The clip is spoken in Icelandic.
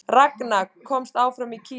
Ragna komst áfram á Kýpur